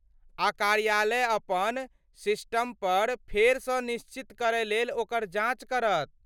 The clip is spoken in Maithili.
आ कार्यालय अपन सिस्टमपर फेरसँ निश्चित करयलेल ओकर जाँच करत।